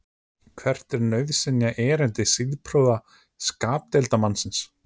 hvert er nauðsynjaerindi siðprúða skapdeildarmannsins